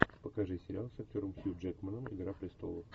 покажи сериал с актером хью джекманом игра престолов